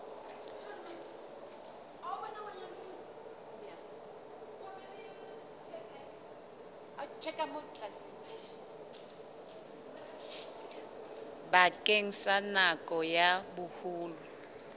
bakeng sa nako ya boholo